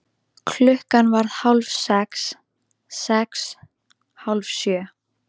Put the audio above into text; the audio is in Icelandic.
Klukkan varð hálf sex. sex. hálf sjö.